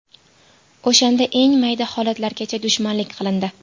O‘shanda eng mayda holatlargacha dushmanlik qilindi.